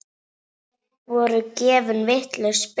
Voru gefin vitlaus spil?